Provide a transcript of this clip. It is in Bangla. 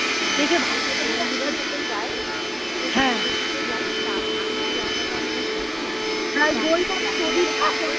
যাই সাথে যাই তা আমি কি জায়গাটা অতটা চিনি না